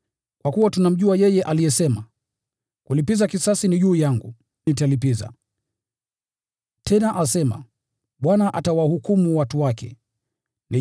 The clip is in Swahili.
Kwa kuwa tunamjua yeye aliyesema, “Ni juu yangu kulipiza kisasi; nitalipiza.” Tena asema, “Bwana atawahukumu watu wake.”